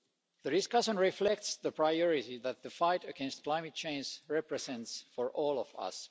The discussion reflects the priority that the fight against climate change represents for all of us.